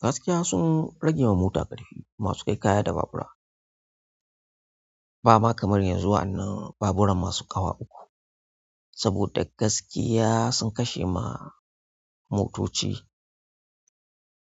Gaskiya sun rage ma mota ƙarfi masu kai kaya da babura. Ba ma kamar yanzu wa' anan baburan masu ƙawa uku, saboda gaskiya sun kashe ma motoci